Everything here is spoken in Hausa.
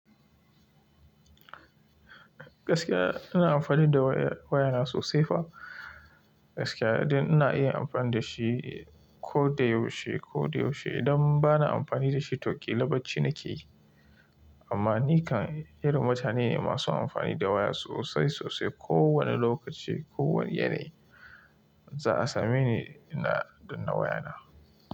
Gaskiya ina amfani da waya, wayana sosai fa. Gaskiya nidai iya amfani da shi ko da yaushe ko da yaushe. Idan bana amfani da shi to ƙila bacci nake yi. Amma ni kan irin mutane ne masu amfani da waya sosai sosai. Ko wane lokaci, ko wane yanayi za a same ni ina danna wayana.